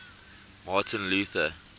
martin luther